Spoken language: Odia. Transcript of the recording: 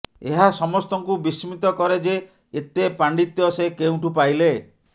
ଏହା ସମସ୍ତଙ୍କୁ ବିସ୍ମିତ କରେ ଯେ ଏତେ ପାଣ୍ଡିତ୍ୟ ସେ କେଉଁଠୁ ପାଇଲେ